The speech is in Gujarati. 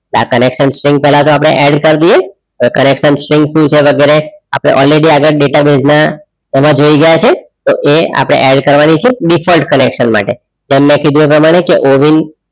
આ connection string પહેલાં તો આપણે add કર દઈએ connection string શું છે વગેરે આપણે alreadydatabase એમાં જોઈ ગયા છે તો એ આપણે add કરવાની છે default connection માટે જે મેં કીધું એ પ્રમાણે ઓવિન